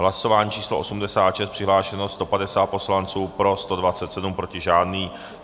Hlasování číslo 86, přihlášeno 150 poslanců, pro 127, proti žádný.